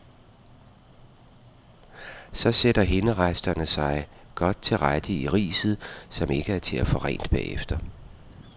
Så sætter hinderesterne sig godt til rette i riset, som ikke er til at få rent bagefter.